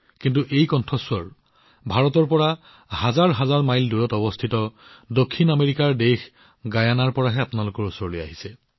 কিন্তু এই ধ্বনিবোৰ ভাৰতৰ পৰা হাজাৰ মাইল দূৰত থকা দক্ষিণ আমেৰিকাৰ দেশ গিয়েনাৰ পৰা আপোনালোকৰ ওচৰলৈ আহিছে